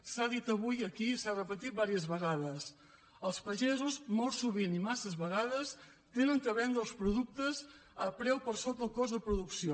s’ha dit avui aquí i s’ha repetit diverses vegades els pagesos molt sovint i massa vegades han de vendre els productes a preu per sota del cost de producció